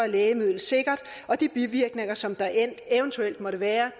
lægemidlet sikkert og de bivirkninger som der eventuelt måtte være